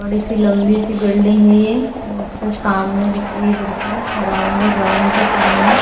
बड़ी सी लंबी सी बिल्डिंग है ये रोड सामने दिख रही है बिलकुल ग्राउंड के सामने--